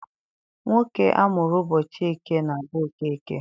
Nwoke amụrụ ụbọchị eke na-abụ Okeke.